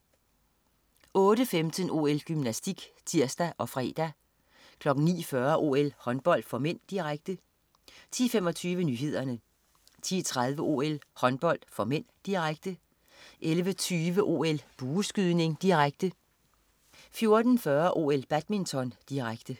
08.15 OL: Gymnastik (tirs og fre) 09.40 OL: Håndbold (m), direkte 10.25 Nyhederne 10.30 OL: Håndbold (m), direkte 11.20 OL: Bueskydning, direkte 14.40 OL: Badminton, direkte